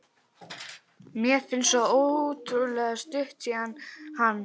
Mér finnst svo ótrúlega stutt síðan hann